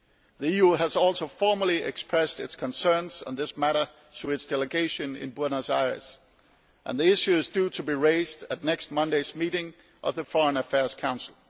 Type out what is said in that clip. The EU has also formally expressed its concerns on this matter to its delegation in Buenos Aires, and the issue is due to be raised at next Monday's meeting of the Foreign Affairs Council.